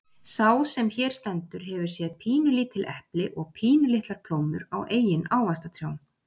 Sá sem hér stendur hefur séð pínulítil epli og pínulitlar plómur á eigin ávaxtatrjám.